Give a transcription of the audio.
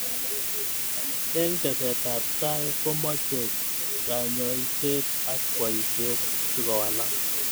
Eng teset ab tai komeche kanyoiset ak boishet sikowalak.